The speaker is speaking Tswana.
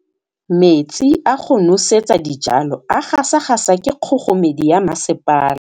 Metsi a go nosetsa dijalo a gasa gasa ke kgogomedi ya masepala.